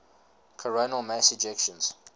coronal mass ejections